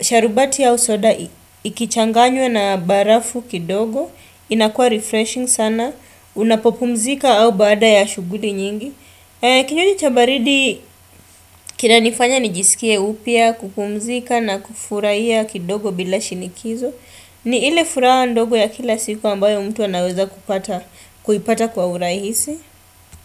sharubati au soda ikichanganywa na barafu kidogo, inakua refreshing sana, unapopumzika au baada ya shughuli nyingi. Kinywaji chabaridi kina nifanya nijisikie upya, kupumzika na kufurahia kidogo bila shinikizo ni ile furaha ndogo ya kila siku ambayo mtu anaweza kuipata kwa urahisi.